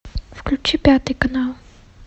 включи пятый канал